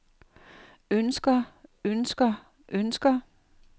ønsker ønsker ønsker